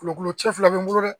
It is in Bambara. Kulo kulo cɛ fila bɛ n bolo dɛ.